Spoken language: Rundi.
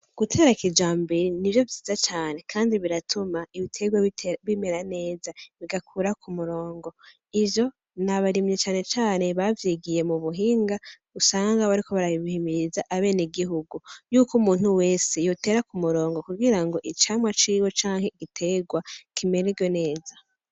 Gutera kijambere nivyo vyiza cane kandi biratuma ibitegwa bitera bimera neza bigakura ku murongo, ivyo nabarimyi cane cane bavyigiye mu buhinga usanga bariko barabihimiriza abenegihugu yuko umuntu wese yotera ku murongo kugira ngo icamwa ciwe canke igitegwa kimererwe neza.